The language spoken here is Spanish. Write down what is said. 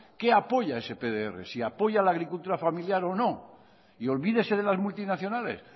qué apoya ese pdr si apoya la agricultura familiar o no y olvídese de las multinacionales